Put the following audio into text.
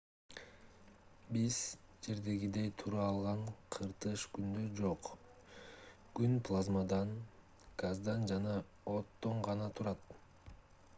биз жердегидей тура алган кыртыш күндө жок күн плазмадан газдан жана оттон гана турат